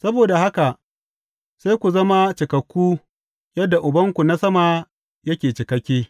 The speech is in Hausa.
Saboda haka sai ku zama cikakku, yadda Ubanku na sama yake cikakke.